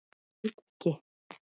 Held ekki.